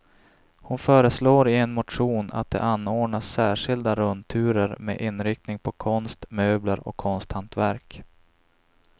Hon föreslår i en motion att det anordnas särskilda rundturer med inriktning på konst, möbler och konsthantverk.